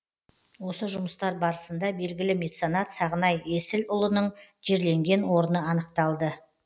осы жұмыстар барысында белгілі меценат сағынай есіұлының жерленген орны анықталды